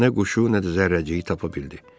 Ancaq nə quşu, nə də zərrəciyi tapa bildi.